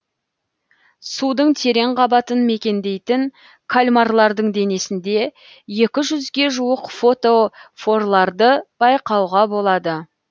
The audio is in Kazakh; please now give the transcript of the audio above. судың терең қабатын мекендейтін кальмарлардың денесінде екі жүзге жуық фотофорларды байқауға болады